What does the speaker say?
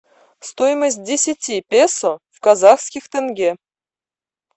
стоимость десяти песо в казахских тенге